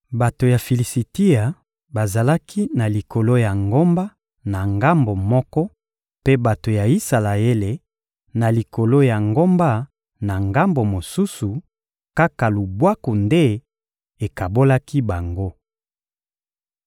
Bato ya Filisitia bazalaki na likolo ya ngomba na ngambo moko, mpe bato ya Isalaele, na likolo ya ngomba na ngambo mosusu; kaka lubwaku nde ekabolaki bango.